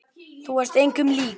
Þú varst engum lík.